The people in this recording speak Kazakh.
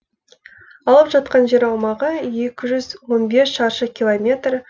алып жатқан жер аумағы екі жүз он бес шаршы километр